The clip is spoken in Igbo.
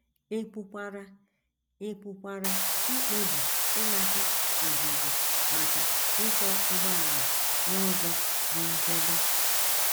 Ị pụkwara Ị pụkwara ikpebi ịnata ọzụzụ maka ịkwọ ụgbọala n’ụzọ dị nchebe.